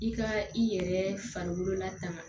I ka i yɛrɛ farikolola tan